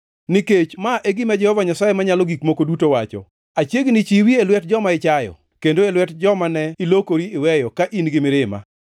“Nikech ma e gima Jehova Nyasaye Manyalo Gik Moko Duto wacho: Achiegni chiwi e lwet joma ichayo, kendo e lwet jomane ilokori iweyo ka in-gi mirima.